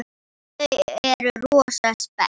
Þau eru rosa spennt.